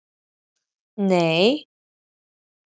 Ert þú kominn á það stig?